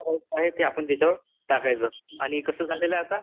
ते आपण त्याच्यावर टाकायचं आणि कास झालेलं आता